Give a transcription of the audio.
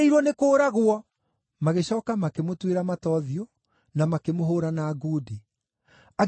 Magĩcooka makĩmũtuĩra mata ũthiũ, na makĩmũhũũra na ngundi. Angĩ makĩmũhũũra na hĩ,